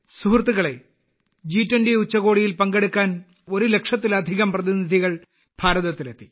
സുഹൃത്തുക്കളെ ജി20 ഉച്ചകോടിയിൽ പങ്കെടുക്കാൻ ഒരു ലക്ഷത്തിലധികം പ്രതിനിധികൾ ഇന്ത്യയിൽ എത്തി